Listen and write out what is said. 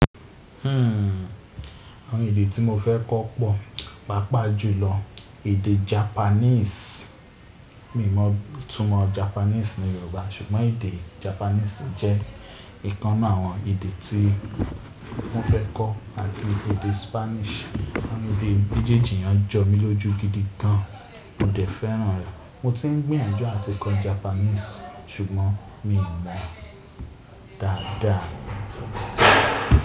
Àwọn èdè tí mo fẹ́ kọ́ pọ̀, pàápàá jùlọ èdè Japanese. Mi ò mọ ìtumọ̀ Japanese ní Yorùbá ṣùgbọ́n èdè Japanese jẹ́ ìkan 'nu àwọn èdè tí mo fẹ́ kọ́ àti èdè Spanish. Àwọn èdè méjèèjì yẹn jọ mí lójú gidi gan. Mo dẹ̀ fẹ́ràn rẹ̀. Mo ti ń gbìyànjú àti kọ́ Japanese ṣùgbọ́n mi ò mọ dáadáa.